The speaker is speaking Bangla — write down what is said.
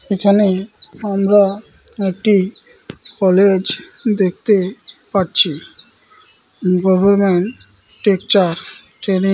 এখানে আমরা একটি কলেজ দেখতে পাচ্ছি । Government teacher trainee --